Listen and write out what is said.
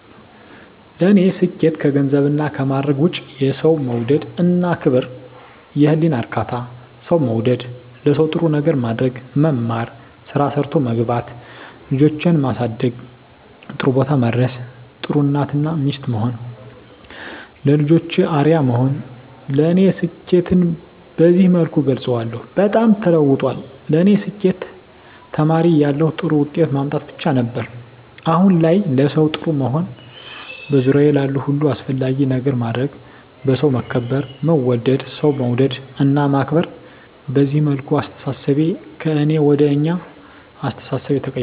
ለኔ ስኬት ከገንዘብና ከማረግ ውጭ፦ የሠው መውደድ እና ክብር፤ የህሊና እርካታ፤ ሠው መውደድ፤ ለሠው ጥሩ ነገር ማድረግ፤ መማር፤ ስራ ሠርቶ መግባት፤ ልጆቼን ማሠደግ ጥሩቦታ ማድረስ፤ ጥሩ እናት እና ሚስት መሆን፤ ለልጆቼ አርያ መሆን ለኔ ስኬትን በዚህ መልኩ እገልፀዋለሁ። በጣም ተለውጧል ለኔ ስኬት ተማሪ እያለሁ ጥሩ ውጤት ማምጣት ብቻ ነበር። አሁን ላይ ለሠው ጥሩ መሆን፤ በዙሪያዬ ላሉ ሁሉ አስፈላጊ ነገር ማድረግ፤ በሠው መከበር መወደድ፤ ሠው መውደድ እና ማክበር፤ በዚህ መልኩ አስተሣሠቤ ከእኔ ወደ አኛ አስተሣሠቤ ተቀይራል።